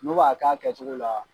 N'u b'a k'a kɛcogo la